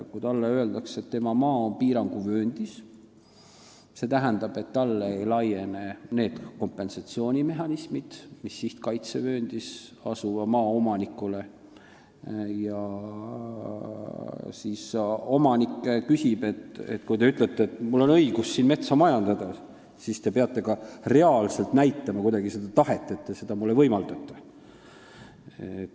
Kui talle öeldakse, et tema maa on piiranguvööndis, st talle ei laiene need kompensatsioonimehhanismid, mis sihtkaitsevööndis asuva maa omanikule, siis ta ütleb, et kui mul on õigus siin metsa majandada, siis te peate ka kuidagi reaalselt näitama, et te seda mulle võimaldate.